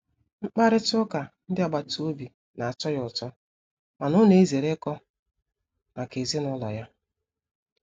Mkparịta ụka ndị agbata obi na-atọ ya ụtọ mana ọ na-ezere ikọ maka ezinụlọ ya.